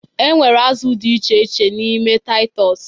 E nwere azụ dị iche iche n'ime Taịtọs